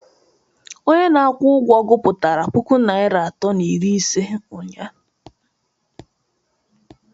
Onye na-akwụ ụgwọ gụpụtara puku naira atọ na iri ise ụnyahụ